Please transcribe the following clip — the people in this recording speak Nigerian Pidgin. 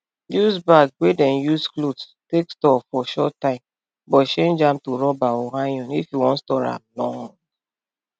use bag wey dem use cloth take store for short time but change am to rubber or iron if you wan store am long